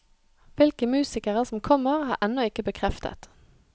Hvilke musikere som kommer, er ennå ikke bekreftet.